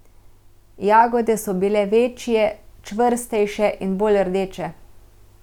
Jagode so bile večje, čvrstejše in bolj rdeče.